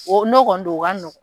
O no kɔni don o ka